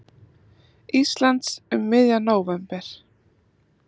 Íslands um miðjan nóvember.